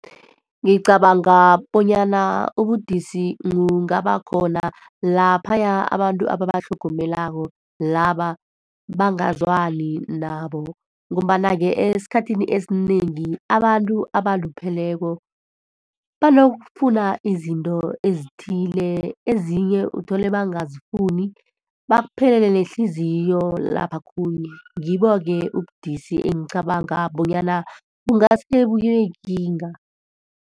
Ngicabanga bonyana ubudisi bungaba khona laphaya abantu ababatlhogomelako laba bangazwani nabo. Ngombana-ke, esikhathini esinengi, abantu abalupheleko banokufuna izinto ezithile, ezinye uthole abangazifuni, bakuphelele nehliziyo laphokhunye. Ngibo-ke ubudisi engicabanga bona bungase bube yikinga.